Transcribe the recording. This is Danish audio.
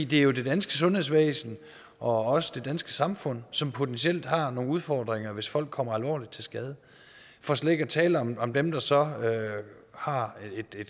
det er jo det danske sundhedsvæsen og også det danske samfund som potentielt har nogle udfordringer hvis folk kommer alvorligt til skade for slet ikke er tale om om dem der så har